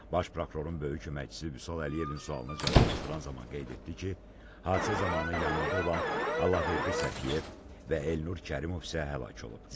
Baş Prokurorun böyük köməkçisi Vüsal Əliyevin sualına cavablandıran zaman qeyd etdi ki, hadisə zamanı yanında olan Allahverdi Səfiyev və Elnur Kərimov isə həlak olub.